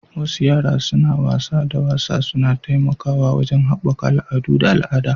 Wasu yara suna wasa da wasa suna taimakawa wajen haɓaka al'adu da al'ada